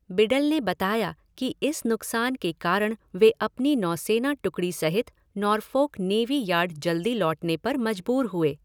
बिडल ने बताया कि इस नुकसान के कारण वे अपनी नौसेना टुकड़ी सहित नॉरफ़ॉक नेवी यार्ड जल्दी लौटने पर मजबूर हुए।